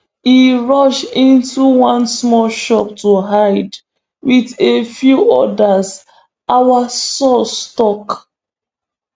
e rush into one small shop to hide wit a few odas our sources tok